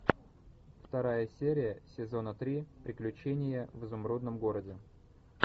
вторая серия сезона три приключения в изумрудном городе